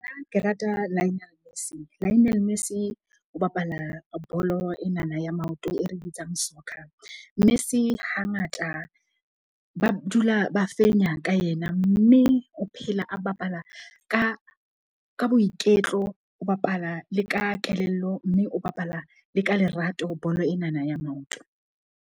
Ke rata Lionel Lionel Messi, o bapala bolo enana ya maoto e re bitsang soccer. Messi hangata ba dula ba fenya ka yena. Mme o phela a bapala ka boiketlo, o bapala le ka kelello mme o bapala le ka lerato bolo enana ya maoto.